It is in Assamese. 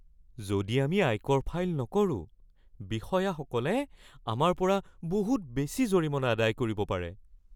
যদি আমি আয়কৰ ফাইল নকৰোঁ, বিষয়াসকলে আমাৰ পৰা বহুত বেছি জৰিমনা আদায় কৰিব পাৰে।